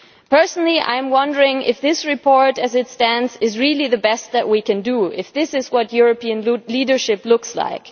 Personally, I wonder if this report, as it stands, is really the best that we can do if this is what European leadership looks like.